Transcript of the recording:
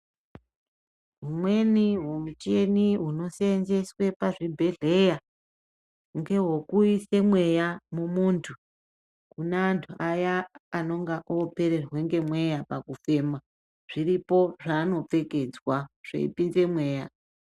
Umweni muchini inoseenzeswa pazvibhedhlera ngewokuisa mweya kumuntu ,kune antu aya anenge opererwa ngemweya pakufema , zviripo zvaanopfekedzwa zvaipinze mweya.